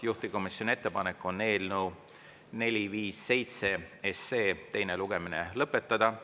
Juhtivkomisjoni ettepanek on eelnõu 457 teine lugemine lõpetada.